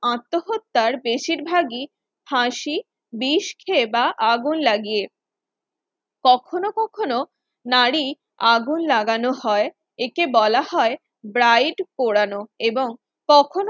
আত্মহত্যা বেশিরভাগই ফাঁসি বিষ খেয়ে বা আগুন লাগিয়ে কখনো কখনো নারীর আগুন লাগানো হয় একে বলা হয় Bride পোড়ানো, এবং